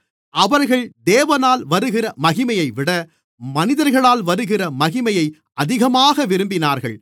அவர்கள் தேவனால் வருகிற மகிமையைவிட மனிதர்களால் வருகிற மகிமையை அதிகமாக விரும்பினார்கள்